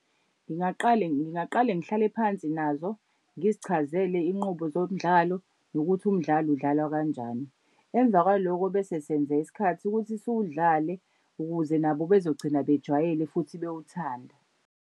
Ngingaqale ngingaqale ngihlale phansi nazo ngizichazele inqubo zomdlalo nokuthi umdlalo udlalwa kanjani. Emva kwaloko bese senza isikhathi ukuthi siwudlale ukuze nabo bezogcina bejwayele futhi bewuthanda.